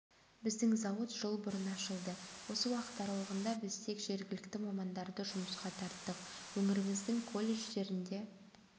біздің зауыт жыл бұрын ашылды осы уақыт аралығында біз тек жергілікті мамандарды жұмысқа тарттық өңіріміздің колледждерінде